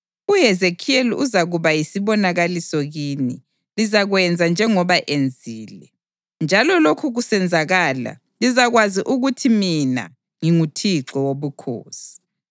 UHezekhiyeli uzakuba yisibonakaliso kini; lizakwenza njengoba enzile. Nxa lokhu kusenzakala, lizakwazi ukuthi mina nginguThixo Wobukhosi.’